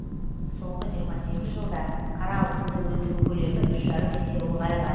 соңғы жиырма сегіз жылда қара алтынды өндіру көлемі үш жарым есе ұлғайған